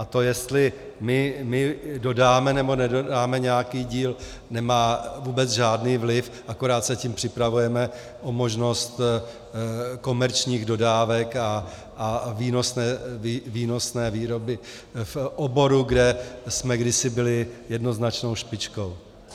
A to, jestli my dodáme nebo nedodáme nějaký díl, nemá vůbec žádný vliv, akorát se tím připravujeme o možnost komerčních dodávek a výnosné výroby v oboru, kde jsme kdysi byli jednoznačnou špičkou.